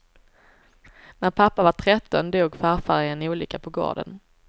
När pappa var tretton dog farfar i en olycka på gården.